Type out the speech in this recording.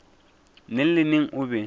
neng le neng o be